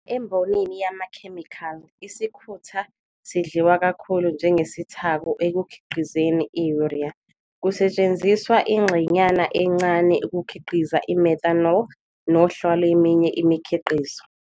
Embonini yamakhemikhali, isikhutha sidliwa kakhulu njengesithako ekukhiqizeni i- urea, kusetshenziswa ingxenyana encane ukukhiqiza i- methanol nohla lweminye imikhiqizo.